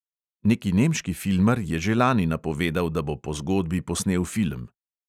Neki nemški filmar je že lani napovedal, da bo po zgodbi posnel film.